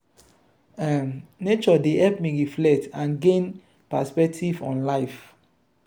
um nature dey help me reflect and gain perspective on life.